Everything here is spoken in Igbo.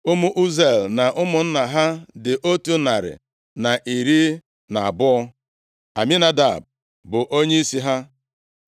Ụmụ Uziel na ụmụnna ha dị otu narị na iri na abụọ. (112) Aminadab bụ onyeisi ha.